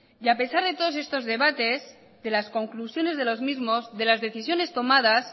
a pesar de todos estos debates de las conclusiones de los mismos de las decisiones tomadas